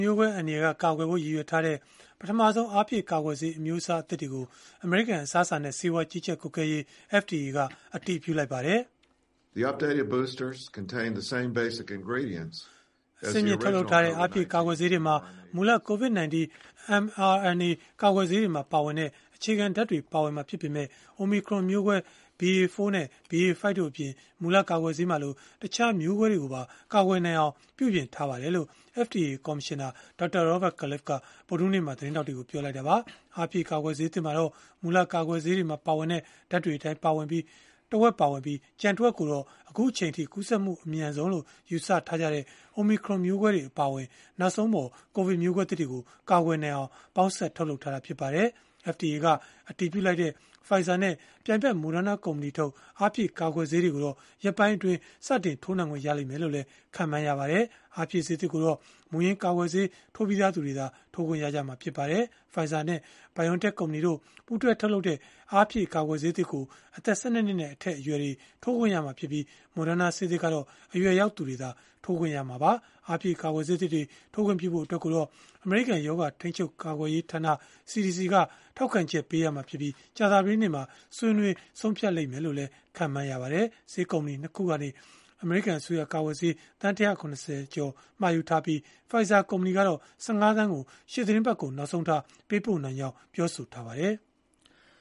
မျိုးကွဲ အန္တရာယ်က ကာကွယ်ဖို့ ရည်ရွယ်ထားတဲ့ ပထမဆုံး အားဖြည့်ကာကွယ်ဆေး အမျိုးအစားသစ်တွေကို အမေရိကန် အစားအစာနဲ့ ဆေးဝါး ကြီးကြပ်ကွပ်ကဲရေး (FDA) က အတည်ပြုလိုက်ပါတယ်။ “အဆင့်မြင့် ထုတ်လုပ်ထားတဲ့ အားဖြည့်ကာကွယ်ဆေးတွေမှာ မူလ COVID-19 mRNA ကာကွယ်ဆေးတွေမှာ ပါဝင်တဲ့ အခြေခံဓာတ်တွေ ပါဝင်မှာ ဖြစ်ပေမဲ့ အိုမီခရွန်မျိုးကွဲ BA.4 နဲ့ BA.5 တို့အပြင်၊ မူလကာကွယ်ဆေးမှာလို တခြားမျိုးကွဲတွေကိုပါ ကာကွယ်နိုင်အောင် ပြုပြင်ထားပါတယ်။” လို့ FDA ကော်မရှင်နာ Dr. Robert Califf ဗုဒ္ဓဟူးနေ့က သတင်းထောက်တွေကို ပြောလိုက်တာပါ။ အားဖြည့်ကာကွယ်ဆေးသစ်မှာတော့ မူလ ကာကွယ်ဆေးတွေမှာ ပါဝင်တဲ့ ဓာတ်တွေအတိုင်း တဝက်ပါဝင်ပြီး၊ ကျန်တဝက်ကိုတော့ အခုအချိန်အထိ ကူးစက်မှု အမြန်ဆုံးလို့ ယူဆထားကြတဲ့ အိုမီခရွန်မျိုးကွဲတွေ အပါအဝင် နောက်ဆုံးပေါ် ကိုဗစ်မျိုးကွဲသစ်တွေကို ကာကွယ်နိုင်အောင် ပေါင်းစပ် ထုတ်လုပ်ထားတာ ဖြစ်ပါတယ်။ FDA က အတည်ပြုလိုက်တဲ့ Pfizer နဲ့ ပြိုင်ဖက် Moderna ကုမ္ပဏီထုတ် အားဖြည့်ကာကွယ်ဆေးတွေကိုတော့ ရက်ပိုင်းအတွင်း စတင်ထိုးနှံခွင့် ရမယ်လို့လည်း ခန့်မှန်းရပါတယ်။ အားဖြည့်ဆေးသစ်ကိုတော့ မူရင်းကာကွယ်ဆေး ထိုးပြီးသား သူတွေသာ ထိုးခွင့်ရမှာ ဖြစ်ပါတယ်။ Pfizer နဲ့ BioNTech ကုမ္ပဏီတို့ ပူးတွဲ ထုတ်လုပ်တဲ့ အားဖြည့် ကာကွယ်ဆေးသစ်ကို အသက် ၁၂ နှစ်နဲ့ အထက်အရွယ်တွေ ထိုးခွင့်ရမှာဖြစ်ပြီး Moderna ဆေးသစ်ကတော့ အရွယ်ရောက်သူတွေသာ ထိုးခွင့်ရမှာပါ။ အားဖြည့်ကာကွယ်ဆေးသစ်တွေ ထိုးခွင့်ပြုဖို့အတွက်ကိုတော့ အမေရိကန် ရောဂါထိန်းချုပ် ကာကွယ်ရေးဌာန (CDC) က ထောက်ခံချက်ပေးရမှာဖြစ်ပြီး၊ ကြာသပတေးနေ့မှာ ဆွေးနွေး ဆုံးဖြတ်မယ်လို့လည်း ခန့်မှန်းရပါတယ်။ ဆေးကုမ္ပဏီ ၂ ခုကနေ အမေရိကန် အစိုးရက ကာကွယ်ဆေး သန်း ၁၇၀ ကျော် မှာယူထားပြီး Pfizer ကုမ္ပဏီကတော့ ၁၅ သန်းကို ရှေ့သီတင်းပတ်ကုန် နောက်ဆုံးထား ပေးပို့နိုင်ကြောင်း ပြောဆိုထားပါတယ်။